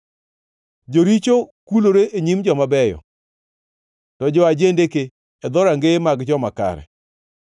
Joricho kulore e nyim joma beyo, to jo-ajendeke e dhorangeye mag joma kare.